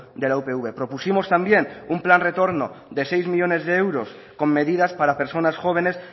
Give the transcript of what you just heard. de la upv propusimos también un plan retorno de seis millónes de euros con medidas para personas jóvenes